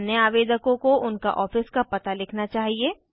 अन्य आवेदकों को उनका ऑफिस का पता लिखना चाहिए